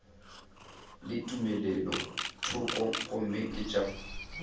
le tumelothoko gomme ke tša